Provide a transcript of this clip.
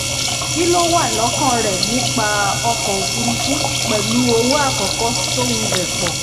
kí lo wà lókàn rẹ nípa ọkọ̀ òfurufú pẹ̀lú owó àkọ́kọ́ tó wulẹ̀ pọ̀?